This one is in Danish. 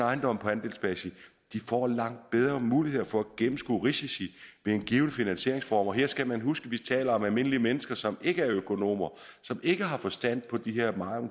ejendom på andelsbasis får langt bedre muligheder for at gennemskue risici ved en given finanseringsform og her skal man huske at vi taler om almindelige mennesker som ikke er økonomer og som ikke har forstand på de her